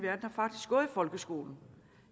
folkeskolen